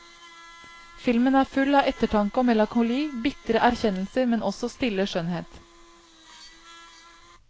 Filmen er full av ettertanke og melankoli, bitre erkjennelser, men også stille skjønnhet.